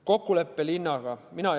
Kokkulepe linnaga?